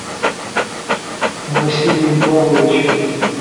василием павловичем